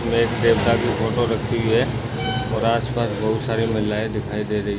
इसमे एक देवता की फोटो रखी हुई है और आसपास बहुत सारी महिलायें दिखाई दे रही है।